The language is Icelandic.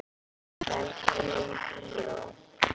Velkomnir í bíó.